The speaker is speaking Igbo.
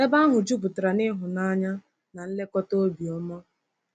Ebe ahụ juputara n’ịhụnanya na nlekọta obiọma.